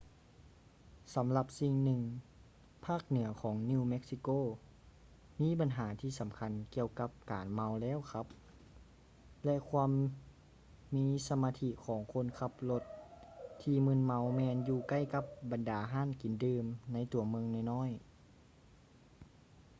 ສຳລັບສິ່ງໜຶ່ງ ພາກເໜືອຂອງ new mexico ມີບັນຫາທີ່ສຳຄັນກ່ຽວກັບການເມົາແລ້ວຂັບ ແລະ ຄວາມມີສະມາທິຂອງຄົນຂັບລົດທີ່ມຶນເມົາແມ່ນຢູ່ໃກ້ກັບບັນດາຮ້ານກິນດື່ມໃນຕົວເມືອງນ້ອຍໆ